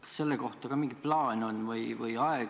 Kas selle kohta ka mingi plaan on?